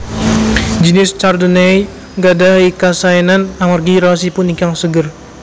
Jinis Chardonnay nggadhahi kasaénan amargi raosipun ingkang seger